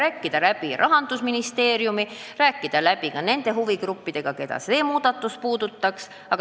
Tuleks läbi rääkida Rahandusministeeriumi ja kõigi huvigruppidega, keda see muudatus puudutaks.